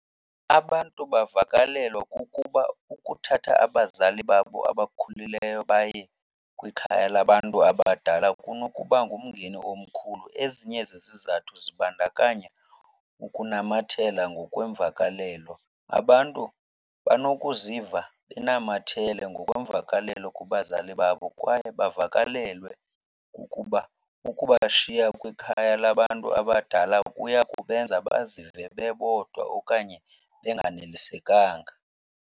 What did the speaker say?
Abantu bavakalelwa kukuba ukuthatha abazali babo abakhulileyo baye kwikhaya labantu abadala kunokuba ngumngeni omkhulu. Ezinye zezizathu zibandakanya ukunamathela ngokweemvakalelo. Abantu banokuziva benamathele ngokweemvakalelo kubazali babo kwaye bavakalelwe kukuba ukubashiya kwikhaya labantu abadala kuya kubenza bazive bebodwa okanye benganelisekanga.